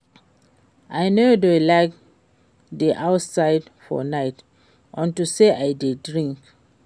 I no dey like to dey outside for night unto say I dey drink